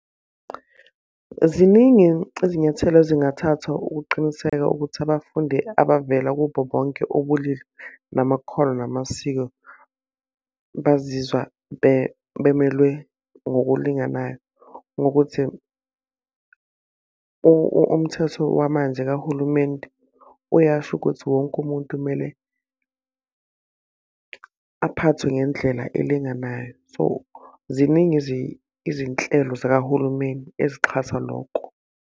Ziningi izinyathelo ezingathathwa ukuqiniseka ukuthi abafundi abavela kubo bonke ubulili namakhono namasiko bazizwa bemelwe ngokulinganayo. Ngokuthi umthetho wamanje kahulumeni uyasho ukuthi wonke umuntu kumele aphathwe ngendlela elinganayo. So, ziningi izinhlelo zikahulumeni eziqhatha loko.